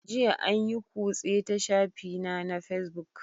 Jiya an yi kutse ta shafina na Facebook